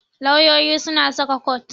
Lauyoyi suna saka kot.